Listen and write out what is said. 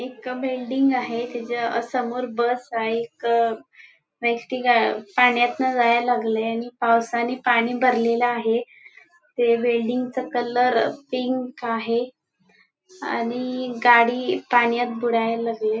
एक अ बिल्डिंग आहे त्याच्या समोर अ बस आहे एक एस.टी ग अ पाण्यातन जायला लागली आहे आणि पावसानी पाणी भरलेल आहे ते वेल्डींग चा कलर पिंक आहे आणि गाडी पाण्यात बुडायला लागलीय.